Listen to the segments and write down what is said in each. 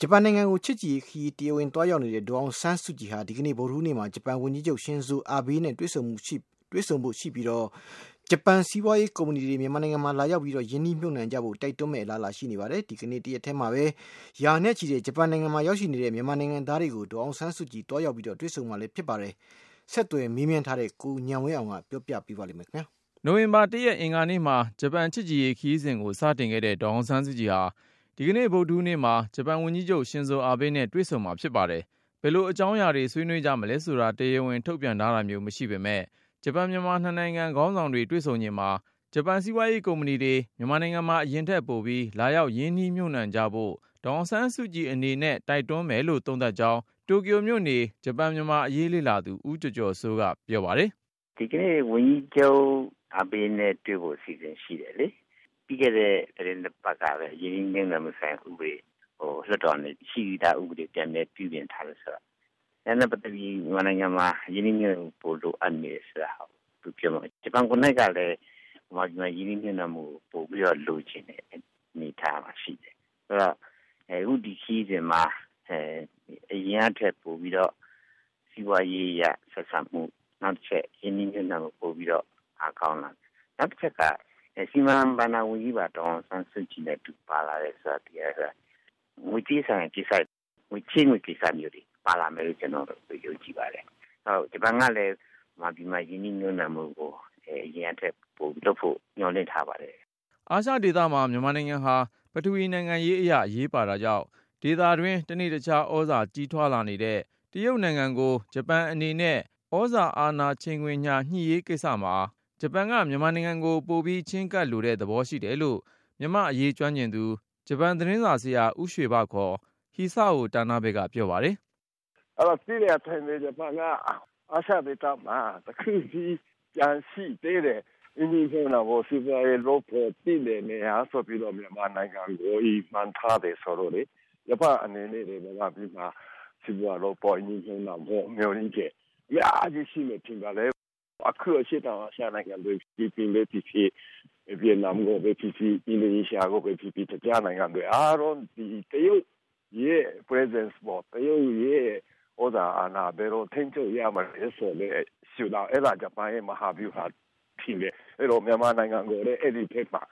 ဂျပန်နိူင်ငံကို ချစ်ကြည်ရေးခရီး တရားဝင်သွားရောက်တဲ့ ဒေါ်အောင်ဆန်းစုကြည် ဟာ အောက်တိုဘာ ၂ရက်- ဗုဒ္ဓဟူး ဒီကနေ့မှာ ဂျပန်ဝန် ကြီးချုပ် ရှင်ဇိုအာဘေး နဲ့ တွေ့ဆုံဖို့ရှိပြီး၊ ဂျပန်စီးပွားရေးကုမ္ပဏီတွေ မြန်မာနိုင်ငံမှာ လာရောက်ရင်းနှီးမြှု ပ်နှံကြဖို့ တိုက်တွန်းမယ့် အလားအလာ ရှိနေပါတယ်။ အဲဒီမတိုင်ခင်မှာ တိုကျိုမြို့ RIHGA ROYAL ဟိုတယ်မှာ ဂျပန်ရောက် မြန်မာနိူင်ငံသား တစ်ထောင်နီးပါး နဲ့ဒေါ်အောင်ဆန်း စုကြည် တွေ့ဆုံဖို့ရှိပါတယ်။ ဆက်သွယ်မေး မြန်းထားတဲ့ ကိုဉာဏ်ဝင်းအောင်က တင်ပြပါမယ်။ နိူဝင်ဘာ ၁ရက် အင်္ဂါနေ့မှာ ဂျပန်ချစ်ကြည်ရေးခရီးကို စတင်ခဲ့တဲ့ ဒေါ်အောင်ဆန်းစု ကြည်ဟာ ဒီနေ့ ဗုဒ္ဓဟူးနေ့မှာ ဂျပန်ဝန်ကြီးချုပ် ရှင်ဇို အာဘေးနဲ့ တွေ့ဆုံမှာဖြစ် ပါတယ်။ ဘယ်လို အကြောင်းအရာတွေ ဆွေးနွေးကြမလဲဆိုတာ တရားဝင်ထုတ်ပြန် ထားတာမျိုး မရှိပေမယ့်၊ ဂျပန် မြန်မာ နှစ်နိူင်ငံခေါင်းဆောင်တွေ တွေ့ဆုံချိန်မှာ ဂျပန် စီးပွားရေးကုမ္ပဏီတွေ မြန်မာနိုင်ငံမှာ အရင်ထက်ပိုပြီး လာရောက် ရင်းနှီးမြှုပ်နှံ ကြဖို့ ဒေါ်အောင်ဆန်းစုကြည်အနေနဲ့ တိုက်တွန်းမယ်လို့ သုံးသပ်ကြောင်း တိုကျိုမြို့ေ န ဂျပန်မြန်မာအရေးလေ့လာသူ ဦးကျော်ကျော်စိုးက ပြောပါတယ်။ “ ဒီကနေ့ ဝန်ကြီးချုပ် အာဘေးနဲ့တွေ့ဖို့ အစီအစဉ် ရှိတယ်လေ။ ပြီးခဲ့တဲ့ သီတင်းနှစ် ပတ်လောက်ကပဲ ရင်းနှီးမြှုပ်နှံဆိုင်ရာ ဥပဒေကို လွှတ်တော်ကနေ ရှိပြီးသားဥပဒေ ကို ပြန်လည်ပြုပြင် ထားတယ်ဆိုတော့.. ဒါနဲ့ပတ်သက်ပြီး မြန်မာနိူင်ငံမှာ ရင်းနှီးြ မှုပ်နှံမှု ပိုလိုအပ်နေတယ် ဆိုတဲ့ဟာကို သူပြောမယ်။ ဂျပန်ကိုယ်နှိုက်ကလည်း မြန် မာ ပြည်မှာ ရင်းနှီးမြှုပ်နှံမှုကို ပိုလုပ်ချင်နေတဲ့ အနေအထားမှာ ရှိတယ်။ ဆိုတော့ အခု ဒီခရီးစဉ်မှာ အရင်ကထက် ပိုပြီးတော့ စီးပွားရေးအရ ဆွဲဆောင်မှု၊ နောက် တချက် ရင်းနှီးမြှုပ်နှံမှု ပိုပြီးတော့ အားကောင်းလာမယ်။ နောက် တချက်က စီမံ ဘဏ္ဍာဝန်ကြီးပါ ဒေါ်အောင်ဆန်းစုကြည်နဲ့အတူပါလာတော့ ငွေကြေးဆိုင်ရာကိစ္စတွေ ချေးငွေကိစ္စမျိုးတွေ ပါလာလိမ့်မယ်လို့ ကျနော်ယုံကြည်ပါတယ်။ ဂျပန် ကလဲ မြန်မာပြည်မှာ ရင်းနှီးမြှုပ်နှံမှုကို အရင်ကထက် ပိုပြီးလုပ်ဖို့ မျှော်လင့် ထားပါတယ် ” အာရှဒေသမှာ မြန်မာနိူင်ငံဟာ ပထဝီနိူင်ငံရေးအရ အရေးပါတာကြောင့် ဒေသတွင်း တနေ့တခြား သြဇာကြီးထွားလာနေတဲ့ တရုတ်နိူင်ငံကို ဂျပန်အနေနဲ့ အာဏာချိန် ခွင်ညှာ ညှိရေးကိစ္စမှာ ဂျပန်က မြန်မာနိူင်ငံကို ပိုပြီးချည်းကပ်လိုတဲ့ သဘောရှိ တယ်လို့ မြန်မာ့အရေးကျွမ်းကျင်သူ ဂျပန်သတင်းစာဆရာ ဦးရွှေဘ Hisao Tanabe က ပြောပါတယ်။ “ သိတဲ့အတိုင်းပဲ ဂျပန်က အာရှဒေသမှာ တခုတည်း ကျန်ရှိသေးတဲ့ ရင်းနှီးမြှုပ်နှံဖို့ စီးပွားရေးလုပ်ဖို့ သင့်တဲ့နေရာ ဆိုပြီးတော့ မြန်မာနိူင်ငံကို ရည်မှန်းထားတယ် ဆိုတော့လေ၊ ဂျပန့်အနေနဲ့လဲ မြန်မာပြည်မှာ စီးပွားလုပ်ဖို့ ရင်းနှီးမြှုပ်နှံဖို့ မျှော်လင့် ချက် အများကြီးရှိမယ် ထင်ပါတယ်။ အခု အရှေ့တောင်အာရှ နိူင်ငံတွေ ဖိလစ်ပိုင် ပဲဖြစ်ဖြစ်၊ ဗီယက်နမ်ကိုပဲဖြစ်ဖြစ် အင်ဒိုနီးရှားကိုပဲ ဖြစ်ဖြစ် အခြားနိူင်ငံတွေ အားလုံး က တရုတ်ရဲ့ သြဇာအာဏာကို ဘယ်လို ထိန်းချုပ်ရမလဲဆိုတဲ့ ရှုထောင့်.. အဲဒါ ဂျပန်ရဲ့ မဟာဗျူဟာဖြစ်တယ်။ အဲဒီတော့ မြန်မာနိူင်ငံကိုလဲ အဲဒီကိစ္စမှာ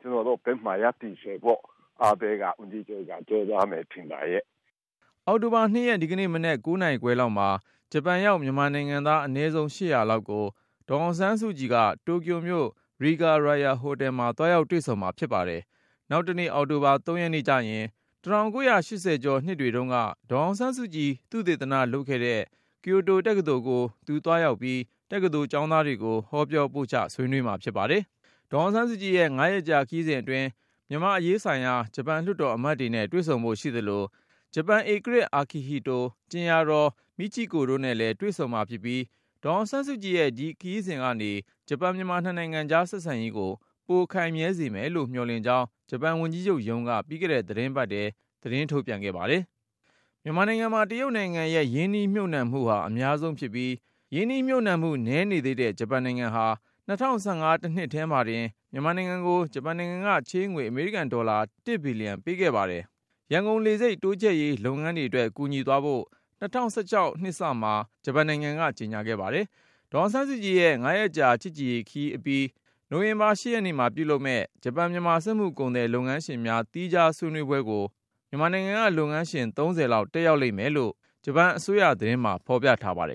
ကျနော်တို့ ဖက်မှာ ရပ်တည်စေဖို့ အာဘေး ဝန်ကြီးချုပ်က ကြိုးစားမယ်ထင်ပါရဲ့” ဒီကနေ့ ဂျပန်ဝန်ကြီးချုပ်နဲ့ မတွေ့ဆုံမီ မနက် ၉နာရီခွဲလောက်မှာ နိုင်ငံတော် အတိုင် ပင်ခံပုဂ္ဂိုလ် ဒေါ်အောင်ဆန်းစုကြည်နဲ့ဂျပန်ရောက် မြန်မာနိူင်ငံသား အနည်းဆုံး ၈၀၀ လောက် တိုကျိုမြို့ RIHGA ROYAL ဟိုတယ်မှာ တွေ့ဆုံမှာဖြစ် ပါတယ်။ နောက် တနေ့ အောက်တိုဘာ ၃ ရက်နေ့ကျရင်တော့ ၁၉၈၀ ကျော် နှစ်တွေတုန်းက ဒေါ်ေ အာင်ဆန်းစုကြည် သုတေသနလုပ်ခဲ့တဲ့ ကျိုတိုတက္ကသိုလ်ကို သူသွားရောက်ပြီး တက္ကသိုလ်ကျောင်းသားတွေကို ဟောပြောပို့ချ ဆွေးနွေးမှာဖြစ်ပါတယ်။ ဒေါ်အောင်ဆန်းစုကြည်ရဲ့ ၅ ရက်ကြာ ခရီးစဉ်အတွင်း မြန်မာ့အရေးဆိုင်ရာ ဂျပန် လွှတ်တော်အမတ်တွေနဲ့ တွေ့ဆုံဖို့ ရှိသလို၊ ဂျပန်ဧကရာဇ် Akihito ကြင်ယာတော် Michiko တို့နဲ့လည်း တွေ့ဆုံမှာဖြစ်ပြီး ဒေါ်အောင်ဆန်းစုကြည်ရဲ့ ဒီခရီးစဉ်ကနေ ဂျပန်-မြန်မာ နှစ်နိုင်ငံကြား ဆက်ဆံရေးကို ပိုခိုင်မြဲစေမယ်လို့ မျှော်လင့်ကြောင်း ဂျပန်ဝန်ကြီးချုပ်ရုံးက ပြီးခဲ့တဲ့ သီတင်းပါတ်ထဲ ပြောဆိုခဲ့ပါတယ်။ မြန်မာနိုင်ငံမှာ တရုတ်နိူင်ငံရဲ့ ရင်းနှီးမြှုပ်နှံမှု အများဆုံးဖြစ်ပြီး၊ ရင်းနှီးမြှုပ်နှံမှု နည်းေ နသေးတဲ့ ဂျပန်နိူင်ငံဟာ ၂၀၁၅ ခု တနှစ်ထဲမှာတင် မြန်မာ နိုင်ငံကို ဂျပန်နိူင်ငံ က ချေးငွေ အမေရိကန်ဒေါ်လာ ၁ ဘီလျံပေးခဲ့ပြီး၊ ရန်ကုန်လေဆိပ် တိုးချဲ့ရေး လုပ်ငန်း တွေအတွက် ကူညီသွားဖို့ ၂၀၁၆ အစမှာ ဂျပန်နိုင်ငံက ကြေညာခဲ့ ပါတယ်။ ဒေါ်အောင်ဆန်းစုကြည်ရဲ့ ၅ရက် ချစ်ကြည်ရေးခရီးအပြီး နိူဝင်ဘာ ၈ ရက်နေ့မှာပြုလုပ်မယ့် ဂျပန်-မြန်မာစက်မှုကုန်သည် လုပ်ငန်းရှင်များ သီးခြားေ ဆွးနွေးပွဲကို မြန်မာနိုင်ငံက လုပ်ငန်းရှင် ၃၀ လောက် တက်ရောက်လိမ့်မယ်လို့ ဂျပန်အစိုးရ သတင်းမှာ ဖေါ်ပြထားပါတယ်